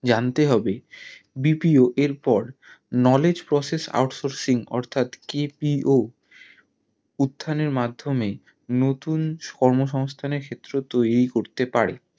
জানতে হবে BPO এর পর knowledge process out sourcing অর্থাৎ KPO উঠানের মাধ্যমে নতুন কর্ম সংস্থানের ক্ষেত্র তৌরি করতে পারে